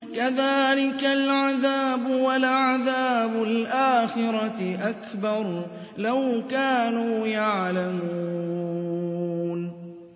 كَذَٰلِكَ الْعَذَابُ ۖ وَلَعَذَابُ الْآخِرَةِ أَكْبَرُ ۚ لَوْ كَانُوا يَعْلَمُونَ